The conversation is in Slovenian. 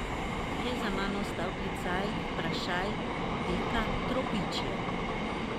Je za mano ostal klicaj, vprašaj, pika, tropičje?